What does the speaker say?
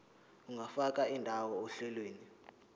ungafaka indawo ohlelweni